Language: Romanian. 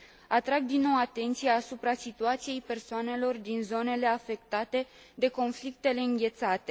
Atrag din nou atenția asupra situației persoanelor din zonele afectate de conflictele înghețate.